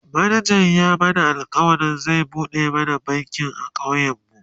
manajan ya mana alkawalin zai buɗe mana banki a ƙauyen mu